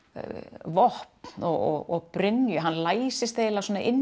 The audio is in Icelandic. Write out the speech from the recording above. vopn og brynju hann læsist eiginlega inni